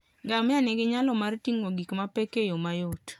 Ngamia nigi nyalo mar ting'o gik mapek e yo mayot.